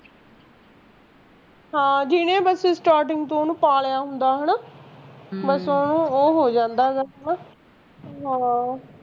ਹਾਂ ਜਿਹਨੇ ਮਤਲਬ starting ਤੋਂ ਓਹਨੂੰ ਪਾਲਿਆ ਹੁੰਦਾ ਆ ਹੈਨਾ ਬਸ ਓਹੋ ਉਹ ਹੋ ਜਾਂਦਾ ਗਾ ਹੈਨਾ ਹਾਂ